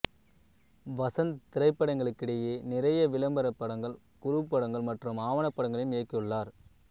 வசந்த் திரைப்படங்களுக்கிடையே நிறைய விளம்பர படங்கள் குறும் படங்கள் மற்றும் ஆவண படங்களையும் இயக்கியுள்ளார்